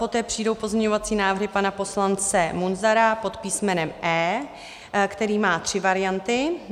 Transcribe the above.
Poté přijdou pozměňovací návrhy pana poslance Munzara pod písmenem E, který má tři varianty.